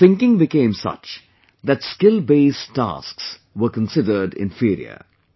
The thinking became such that skill based tasks were considered inferior